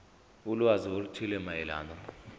ulwazi oluthile mayelana